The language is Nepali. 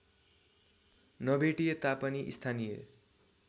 नभेटिए तापनि स्थानीय